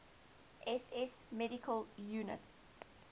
ss medical units